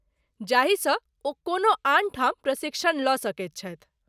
जाहिसँ ओ कोनो आन ठाम प्रशिक्षण लऽ सकैत छथि।